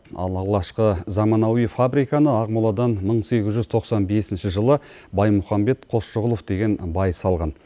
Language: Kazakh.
ал алғашқы заманауи фабриканы ақмоладан мың сегіз жүз тоқсан бесінші жылы баймұхамбет қосшығұлов деген бай салған